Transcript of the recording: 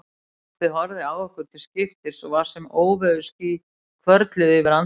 Pabbi horfði á okkur til skiptis og var sem óveðursský hvörfluðu yfir andlitið.